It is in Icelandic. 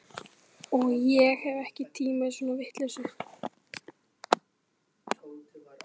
Og ég hef ekki tíma í svona vitleysu